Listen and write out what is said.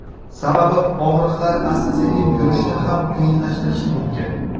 Sababi og‘riqlar asta-sekin yurishni ham qiyinlashtirishi mumkin.